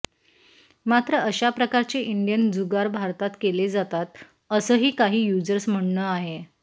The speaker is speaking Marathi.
मात्र अशा प्रकारचे इंडियन जुगार भारतात केले जातात असंही काही युझर्स म्हणणं आहे